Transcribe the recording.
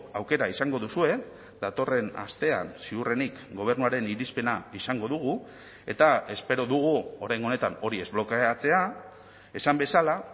aukera izango duzue datorren astean ziurrenik gobernuaren irizpena izango dugu eta espero dugu oraingo honetan hori ez blokeatzea esan bezala